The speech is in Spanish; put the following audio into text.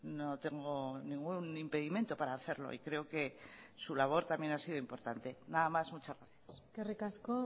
no tengo ningún impedimento para hacerlo y creo que su labor también ha sido importante nada más muchas gracias eskerrik asko